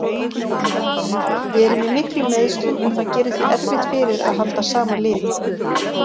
Við erum í miklum meiðslum og það gerir því erfitt fyrir að halda sama liði.